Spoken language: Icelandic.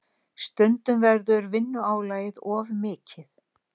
Stundum verður vinnuálagið of mikið.